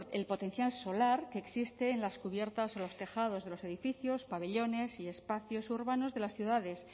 el potencial solar que existe en las cubiertas o los tejados de los edificios pabellones y espacios urbanos de las ciudades